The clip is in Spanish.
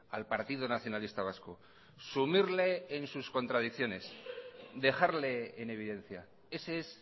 al partido nacionalista vasco sumirle en sus contradicciones dejarle en evidencia ese es